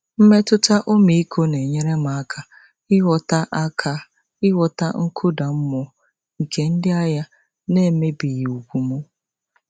Mmetụta ọmịiko na-enyere m aka ịghọta aka ịghọta nkụda mmụọ nke ndị ahịa n'emebighị ùgwù m.